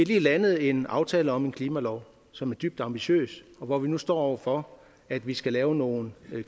lige landet en aftale om en klimalov som er dybt ambitiøs og hvor vi nu står over for at vi skal lave nogle